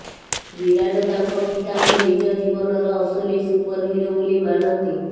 ବିରାଟ ତାଙ୍କ ପିତାଙ୍କୁ ନିଜ ଜୀବନର ଅସଲି ସୁପର ହିରୋ ବୋଲି ମାନନ୍ତି